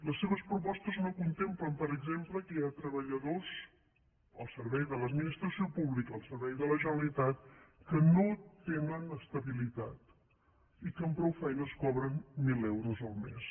les seves propostes no contemplen per exemple que hi ha treballadors al servei de l’administració pública al servei de la generalitat que no tenen estabilitat i que amb prou feines cobren mil euros el mes